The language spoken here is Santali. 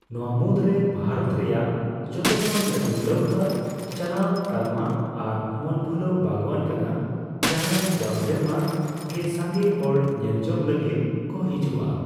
ᱱᱚᱣᱟ ᱢᱩᱫᱽ ᱨᱮ ᱵᱷᱟᱨᱚᱛ ᱨᱮᱭᱟᱜ ᱡᱚᱛᱚᱠᱷᱚᱱ ᱞᱟᱹᱴᱩ ᱱᱟᱹᱣᱠᱟᱹ ᱪᱟᱞᱟᱣ ᱛᱟᱞᱢᱟ ᱟᱨ ᱢᱚᱱᱵᱷᱩᱞᱟᱹᱣ ᱵᱟᱜᱽᱣᱟᱱ ᱠᱟᱱᱟ ᱡᱟᱦᱟᱸ ᱨᱮ ᱡᱟᱣᱥᱮᱨᱢᱟ ᱜᱮ ᱥᱟᱸᱜᱮ ᱦᱚᱲ ᱧᱮᱞᱡᱚᱝ ᱞᱟᱹᱜᱤᱫ ᱠᱚ ᱦᱤᱡᱩᱜᱼᱟ ᱾